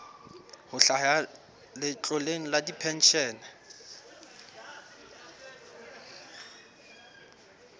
ho hlaha letloleng la dipenshene